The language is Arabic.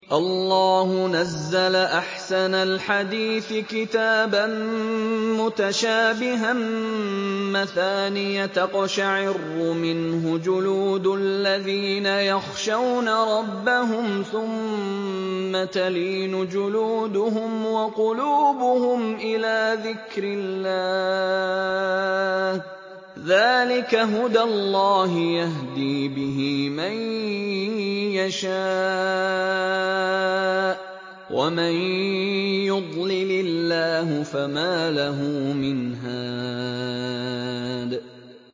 اللَّهُ نَزَّلَ أَحْسَنَ الْحَدِيثِ كِتَابًا مُّتَشَابِهًا مَّثَانِيَ تَقْشَعِرُّ مِنْهُ جُلُودُ الَّذِينَ يَخْشَوْنَ رَبَّهُمْ ثُمَّ تَلِينُ جُلُودُهُمْ وَقُلُوبُهُمْ إِلَىٰ ذِكْرِ اللَّهِ ۚ ذَٰلِكَ هُدَى اللَّهِ يَهْدِي بِهِ مَن يَشَاءُ ۚ وَمَن يُضْلِلِ اللَّهُ فَمَا لَهُ مِنْ هَادٍ